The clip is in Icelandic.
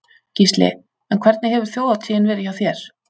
Gísli: En hvernig hefur þjóðhátíðin verið hjá þér?